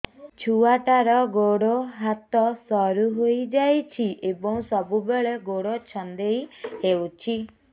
ଛୁଆଟାର ଗୋଡ଼ ହାତ ସରୁ ହୋଇଯାଇଛି ଏବଂ ସବୁବେଳେ ଗୋଡ଼ ଛଂଦେଇ ହେଉଛି